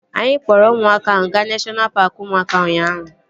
Anyị kpọrọ ụmụaka ahụ gaa neshọna paaki ụmụaka ụnyaahụ